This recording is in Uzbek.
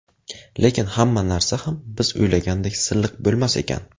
Lekin hamma narsa ham biz o‘ylagandek silliq bo‘lmas ekan.